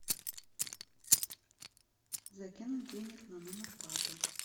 закинуть денег на номер папы